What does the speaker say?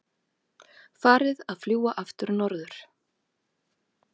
Farið að fljúga aftur norður